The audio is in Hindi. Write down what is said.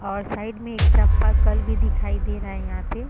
और साइड में एक चाप्पाकल भी दिखाई दे रहा है यहाँ पे।